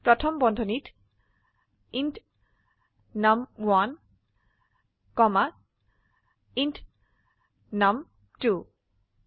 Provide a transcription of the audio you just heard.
প্রথম বন্ধনীত int num1 comma int নুম2